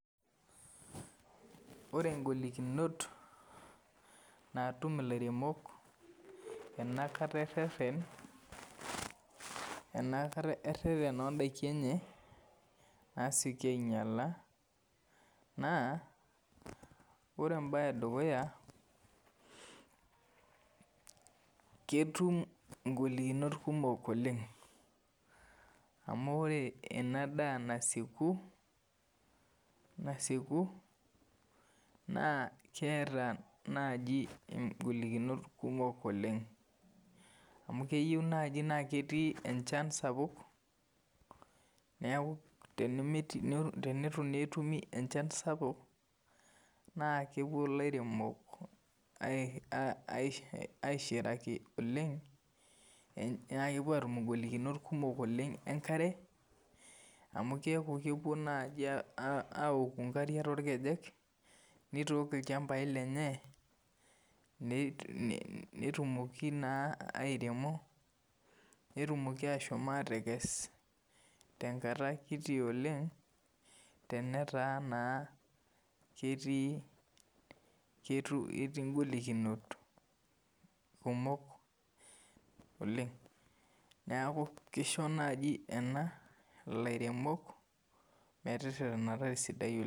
Ore ngolikinot naatum ilairemok enakata erherhen oodaiki enye naasioki ainyala naa ore embae edukuya Ketum ingolikinot kumok oleng amu ore ena daa nasieku naa keeta naji ingolikinot kumok oleng amu keyieu naji naa ketii enchan sapuk neeku tenetu naa etumi enchan sapuk naa kepuo ilairemok aishiraki oleng naa kepuo aatum ingolikinot kumok engare amu keeku kepuo naaji awoku ngarik toolkejek nitook ilchambai lenye neitumoki naa airemo netumoki ashom atekes tenkata kiti oleng tenetaa naa ketii ingolikinot kumok oleng neeku kisho naaji ena ilairemok meteterherhenata esidai oleng'